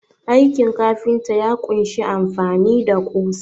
Aikin kafinta ya kunshi amfani da ƙusa.